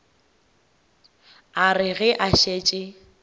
a re ge a šetše